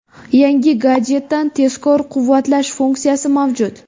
Yangi gadjetda tezkor quvvatlash funksiyasi mavjud.